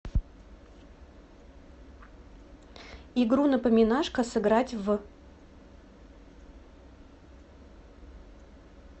игру напоминашка сыграть в